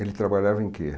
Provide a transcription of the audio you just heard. Ele trabalhava em quê?